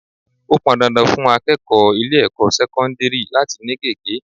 Ó pọn dandan fún akẹ́kọ̀ọ́ ilé ẹ̀kọ́ sẹ́kọ́ńdírì láti ni gege.